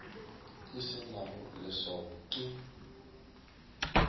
e se nago leswao ke